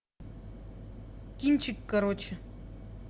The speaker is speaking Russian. кинчик короче